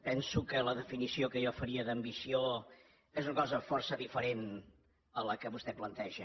penso que la definició que jo faria d’ambició és una cosa força diferent a la que vostè planteja